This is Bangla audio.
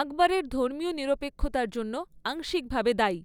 আকবরের ধর্মীয় নিরপেক্ষতার জন্য আংশিকভাবে দায়ী।'